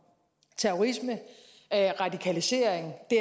terrorisme og radikalisering og det